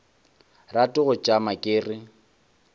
rate go tšama ke re